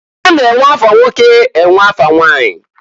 A na-enwe afa nwoke enwe afa nwanyi.